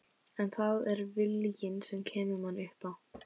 En það er viljinn sem kemur manni upp á